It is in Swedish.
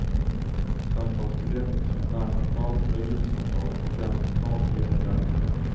Samtalsbegrepp som närsamtal, regionsamtal och fjärrsamtal gäller därefter.